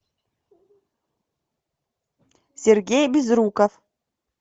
сергей безруков